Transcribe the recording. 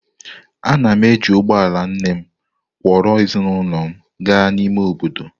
Ana m eji ụgbọ ala nne m kwọro ezinụlọ m gaa n’ime obodo.